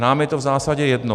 Nám je to v zásadě jedno.